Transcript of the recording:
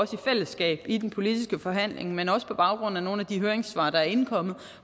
fællesskab i den politiske forhandling men også på baggrund af nogle af de høringssvar der er indkommet